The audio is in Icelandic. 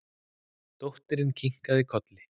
Dóttirin kinkar kolli.